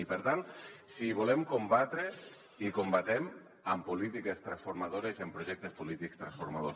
i per tant si hi volem combatre hi combatem amb polítiques transformadores i amb projectes polítics transformadors